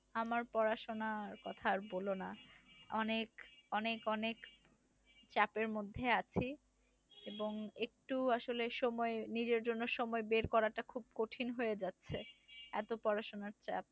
আমার পড়াশোনার কথা আর বলো না। অনেক অনেক অনেক চাপের মধ্যে আছি এবং একটু আসলে সময় নিজের জন্য সময় বের করাটা খুব কঠিন হয়ে যাচ্ছে। এত পড়াশোনার চাপ।